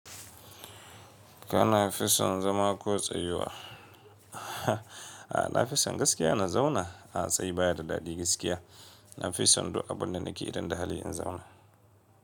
Kana fison zama ko tsayuwa? A'a, na fi son gaskiya na zauna. A tsaye baya da daɗi gaskiya. Na fi son du abunda nake idon da hali in zauna.